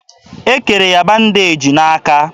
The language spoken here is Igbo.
E kere ya bandeji n'aka.